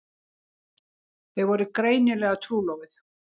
Þau voru greinilega trúlofuð.